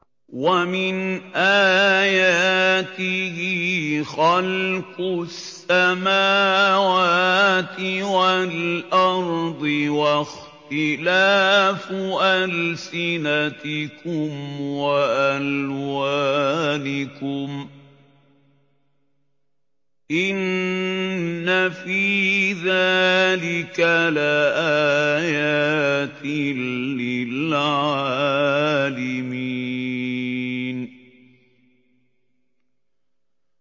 وَمِنْ آيَاتِهِ خَلْقُ السَّمَاوَاتِ وَالْأَرْضِ وَاخْتِلَافُ أَلْسِنَتِكُمْ وَأَلْوَانِكُمْ ۚ إِنَّ فِي ذَٰلِكَ لَآيَاتٍ لِّلْعَالِمِينَ